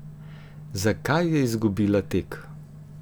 Zakaj je izgubila tek?